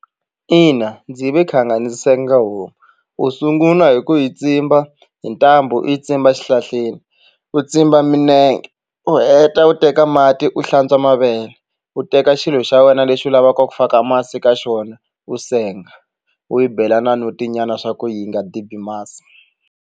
Ina ndzi ve khanga ni senga homu u sungula hi ku hi tsimba hi ntambu u yi tsimba xihlahleni u tsimba milenge u heta u teka mati u hlantswa mavele u teka xilo xa wena lexi u lavaka ku faka masi ka xona u senga u yi bela na notinyana swa ku yi nga dibi masi.